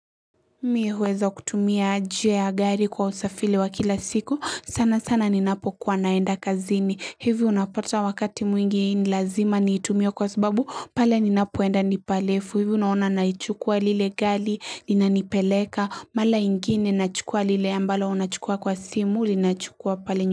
Mie huweza kutumia jia ya gari kwa usafili wa kila siku, sana sana ninapokuwa naenda kazini, hivyo unapata wakati mwingi ni lazima niitumie kwa sababu, pale ninapoenda nipa lefu, hivyo unaona naichukua lile gali, inanipeleka, mala ingine nachukua lile ambalo unachukua kwa simu, linachukua pale ny.